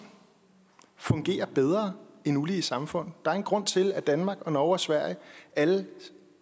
fungerer bedre end ulige samfund der er en grund til at danmark norge og sverige alle